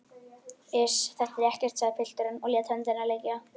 Iss, þetta er ekkert, sagði pilturinn og lét höndina liggja.